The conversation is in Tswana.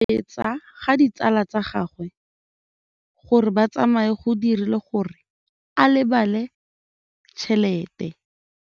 Go gobagobetsa ga ditsala tsa gagwe, gore ba tsamaye go dirile gore a lebale tšhelete.